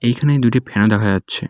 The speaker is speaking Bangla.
এইখানে দুটি ফ্যান দেখা যাচ্ছে।